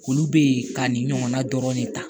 Olu be ye ka nin ɲɔgɔnna dɔrɔn de ta